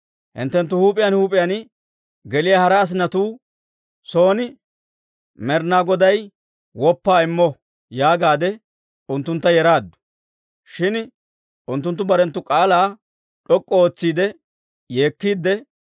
Hinttenttu huup'iyaan huup'iyaan geliyaa hara asinatuu son Med'inaa Goday woppaa immo» yaagaade unttuntta yeraaddu. Shin unttunttu barenttu k'aalaa d'ok'k'u ootsiidde yeekkiide,